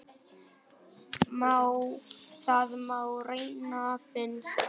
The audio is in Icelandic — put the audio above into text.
Það má reyna, finnst mér.